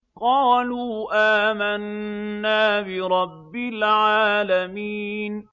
قَالُوا آمَنَّا بِرَبِّ الْعَالَمِينَ